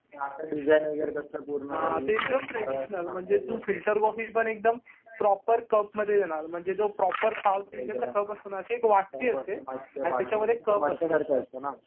ते एकदम ट्रेडीशनल म्हणजे तु फिल्टर कॉफी पण एकदम प्रॉपर कप मध्ये देणार. म्हणजे जो प्रॉपर साऊथ इंडियन चा कप असतो ना. अशी एक वाटी असते आणि तिच्यामध्ये कप असतो.